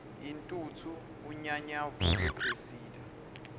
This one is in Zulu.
intuthu unyanyavu lwecressida